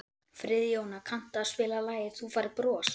Friðjóna, kanntu að spila lagið „Þú Færð Bros“?